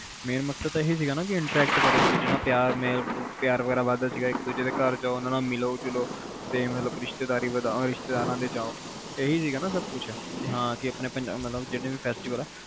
main ਮਕਸਦ ਅਹਿ ਸੀਗਾ ਕਿ intreact ਕਰੋ ਇਕ ਦੂਜੇ ਨਾਲ, ਪਿਆਰ ਮੇਲ ਪਿਆਰ ਵਗੈਰਾ ਵੱਧ ਦਾ ਸੀਗਾ ਇਕ ਦੂਜੇ ਦੇ ਘਰ ਜਾਓ ਮਿਲੋ ਜੁਲੋ ਰਿਸ਼ਤੇਦਾਰੀ ਵਧਾਓ ਰਿਸ਼ਤੇਦਾਰਾ ਦੇ ਜਾਓ